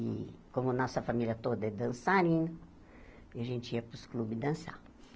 E, como nossa família toda é dançarina, a gente ia para os clubes dançar.